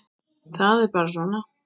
Það er bara svona.